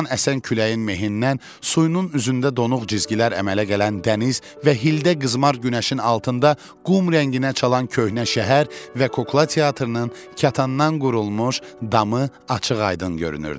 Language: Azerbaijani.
Burdan əsən küləyin mehindən suyunun üzündə donuq cizgilər əmələ gələn dəniz və hildə qızmar günəşin altında qum rənginə çalan köhnə şəhər və kukla teatrının katandan qurulmuş damı açıq-aydın görünürdü.